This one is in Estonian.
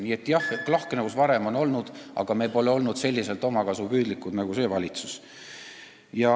Nii et jah, lahknevust on varem olnud, aga me pole olnud nii omakasupüüdlikud nagu see valitsus.